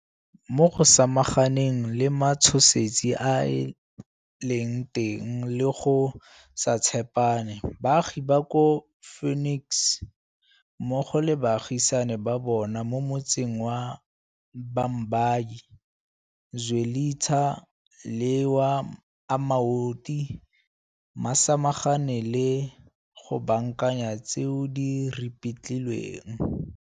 Mo go samaganeng le matshosetsi a a leng teng le go se tshepane, baagi ba kwa Phoenix mmogo le baagisani ba bona mo motseng wa Bha mbayi, Zwelitsha le wa Amaoti ba samagane le go baakanya tseo di ripitlilweng.